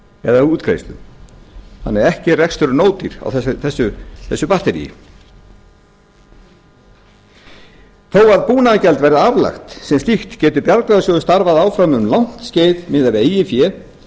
eða útgreiðslu þannig að ekki er reksturinn ódýr á þessu batteríi þó að búnaðargjald verði aflagt sem slíkt getur bjargráðasjóður starfað áfram um langt skeið miðað við eigið fé